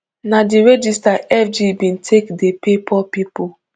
na di register fg bin take dey pay poor pipo